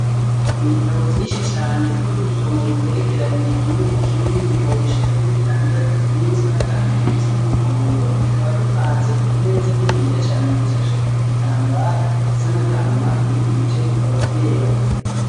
Ibitabo vyinshi cane, vyugusoma bigerekeranye Kimwe kukindi, ibitabo bushika Kuri bitandatu, bimwe bisa n'agahama ibindi bisa n'umuhondo, Bikaba bipanze kukimeza kininiya cane, gishasheko igitambara gisa n'Agahama ibindi bice bikaba vyera.